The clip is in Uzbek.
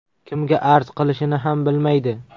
Kimga arz qilishini ham bilmaydi.